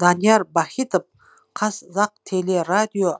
данияр бахитов қазақтелерадио